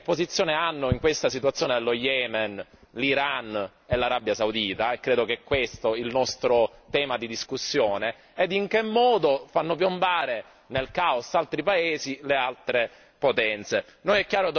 C'è da capire che posizione hanno, in questa situazione dello Yemen, l'Iran e l'Arabia Saudita e credo che questo sia il nostro tema di discussione e in che modo fanno piombare nel caos altri paesi le altre potenze.